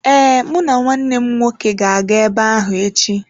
Ee, mụ na nwanne m nwoke ga-aga ebe ahụ echi.